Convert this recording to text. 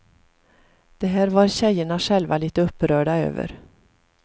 Det här var tjejerna själva lite upprörda över.